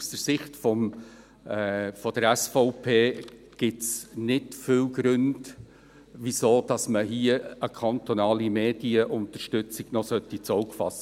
Aus Sicht der SVP gibt es nicht viele Gründe, hier noch eine kantonale Medienunterstützung ins Auge zu fassen.